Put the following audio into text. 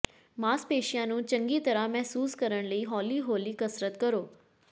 ਮਾਸਪੇਸ਼ੀਆਂ ਨੂੰ ਚੰਗੀ ਤਰ੍ਹਾਂ ਮਹਿਸੂਸ ਕਰਨ ਲਈ ਹੌਲੀ ਹੌਲੀ ਕਸਰਤ ਕਰੋ